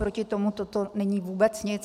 Proti tomu toto není vůbec nic.